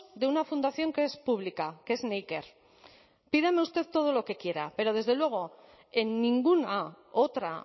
de una fundación que es pública que es neiker pídame usted todo lo que quiera pero desde luego en ninguna otra